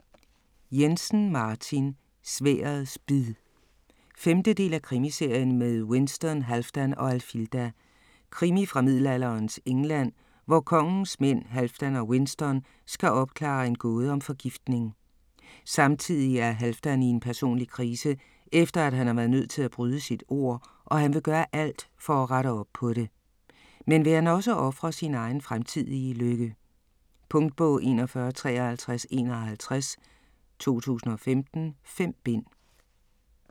Jensen, Martin: Sværdets bid 5. del af Krimiserien med Winston, Halfdan og Alfilda. Krimi fra middelalderens England, hvor kongens mænd, Halfdan og Winston, skal opklare en gåde om forgiftning. Samtidig er Halfdan i en personlig krise, efter han har været nødt til at bryde sit ord, og han vil gøre alt for at rette op på det. Men vil han også ofre sin egen fremtidige lykke? Punktbog 415351 2015. 5 bind.